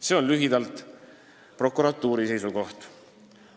See oli lühidalt prokuratuuri seisukoht.